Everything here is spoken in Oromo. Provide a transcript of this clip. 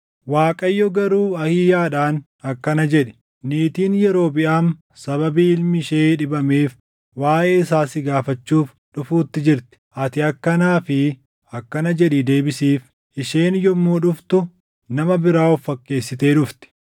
Waaqayyo garuu Ahiiyaadhaan akkana jedhe; “Niitiin Yerobiʼaam sababii ilmi ishee dhibameef waaʼee isaa si gaafachuuf dhufuutti jirti; ati akkanaa fi akkana jedhii deebisiif. Isheen yommuu dhuftu nama biraa of fakkeessitee dhufti.”